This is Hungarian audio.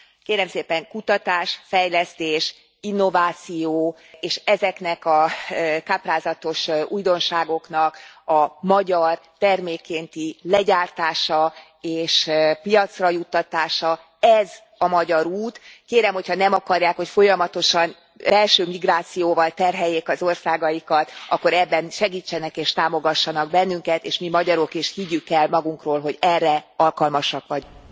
Kérem szépen, kutatás, fejlesztés, innováció és ezeknek a káprázatos újdonságoknak a magyar termékkénti legyártása és piacra juttatása ez a magyar út, kérem, hogy ha nem akarják, hogy folyamatosan belső migrációval terheljék az országaikat, akkor ebben segítsenek és támogassanak bennünket és mi magyarok is higgyük el magunkról, hogy erre alkalmasak vagyunk!